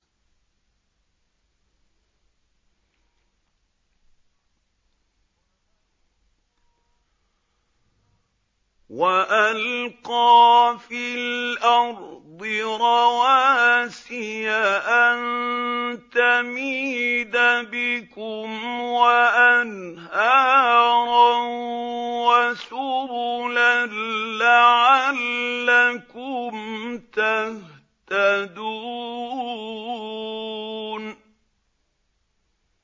وَأَلْقَىٰ فِي الْأَرْضِ رَوَاسِيَ أَن تَمِيدَ بِكُمْ وَأَنْهَارًا وَسُبُلًا لَّعَلَّكُمْ تَهْتَدُونَ